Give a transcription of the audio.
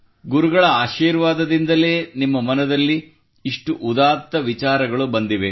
ಗುರುಗಳ ಆಶೀರ್ವಾದದಿಂದಲೇ ನಿಮ್ಮ ಮನದಲ್ಲಿ ಇಷ್ಟು ಉದಾತ್ತ ವಿಚಾರಗಳು ಬಂದಿವೆ